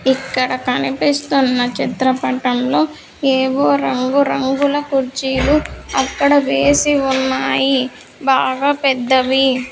ఇక్కడ కనిపిస్తున్న చిత్రపటంలో ఏవో రంగు రంగుల కుర్చీలు అక్కడ వేసి ఉన్నాయి బాగా పెద్దవి.